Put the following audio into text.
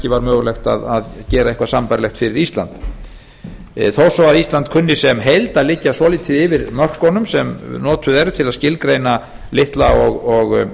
var mögulegt að gera eitthvað sambærilegt fyrir ísland þó svo að ísland kunni sem heild að liggja svolítið yfir mörkunum sem notuð eru til að skilgreina lítil og